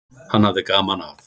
Hann hafði gaman af.